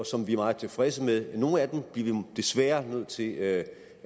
som vi er meget tilfredse med hvad nogle af dem bliver vi desværre nødt til at